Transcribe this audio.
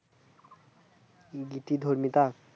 গীতি ধর্মিতা